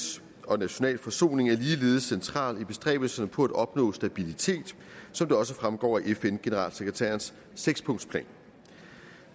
og nationale forsoning er ligeledes centrale i bestræbelserne på at opnå stabilitet som det også fremgår af fn generalsekretærens sekspunktsplan